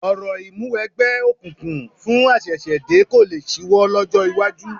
Orò ìmúniwẹgbẹ́ òkùnkùn fún àṣẹ̀ṣẹ̀dé kò lé ṣíwọ́ lọ́jọ́ iwájú